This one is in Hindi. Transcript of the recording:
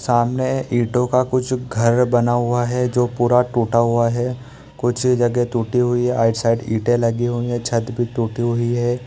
सामने इंटो का कुछ घर बना हुआ है जो पूरा टूटा हुआ है कुछ जगह टूटी हुई है आउटसाइड ईंटे लगी हुई है छत भी टूटी हुई है।